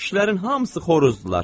Kişilərin hamısı xoruzdurlar.